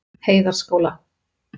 Heiðarskóla